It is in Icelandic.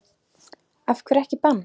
Af hverju ekki bann?